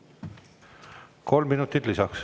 Kolm minutit lisaks.